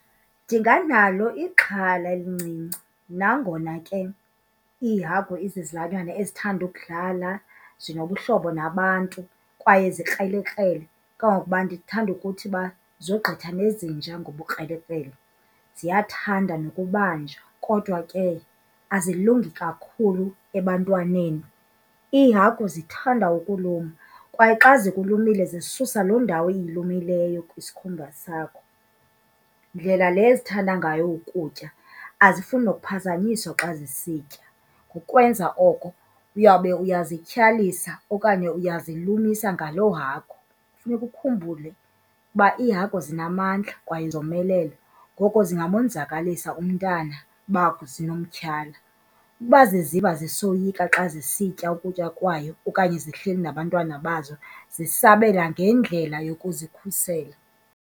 Ndinganalo ixhala elincinci nangona ke iihagu izizilwanyana ezithanda ukudlala, zinobuhlobo nabantu kwaye zikrelekrele, kangangokuba ndithanda ukuthi uba zogqitha nezinja ngobukrelekrele. Ziyathanda nokubanjwa kodwa ke azilungi kakhulu ebantwaneni. Iihagu zithanda ukuluma kwaye xa zikulumile zisusa loo ndawo iyilumileyo kwisikhumba sakho. Ndlela le zithanda ngayo ukutya azifuni nokuphazanyiswa xa zisitya. Ukwenza oko uyawube uyazityhalisa okanye uyazilumisa ngaloo hagu. Funeka ukhumbule ukuba iihagu zinamandla kwaye zomelele, ngoko zingamonzakalisa umntana uba zinomtyhala. Uba ziziva zisoyika xa zisitya ukutya kwayo okanye zihleli nabantwana bazo, zisabela ngendlela yokuzikhusela.